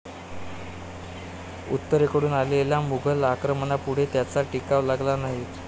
उत्तरेकडून आलेल्या मुघल आक्रमणापुढे त्यांचा टिकाव लागला नाही.